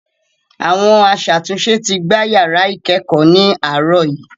Àwọn aṣàtúnṣe ti gbá yàrá ìkẹ́ẹ̀kọ̀ ní àárọ̀ yìí.